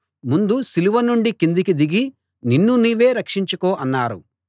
ముందు సిలువ నుండి కిందికి దిగి నిన్ను నువ్వే రక్షించుకో అన్నారు